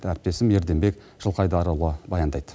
әріптесім ерденбек жылқайдарұлы баяндайды